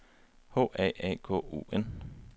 H A A K O N